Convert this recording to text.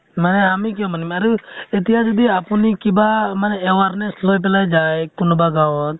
মানে আমি কিয় মানিম আৰু আতিয়া যদি আপুনি কিবা মানে awareness লৈ পালে যায় কোনোবা গাঁৱত